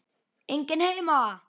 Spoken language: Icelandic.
Enginn heima!